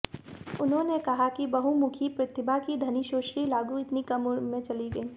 उन्होंने कहा कि बहुमुखी प्रतिभा की धनी सुश्री लागू इतनी कम उम्र में चली गईं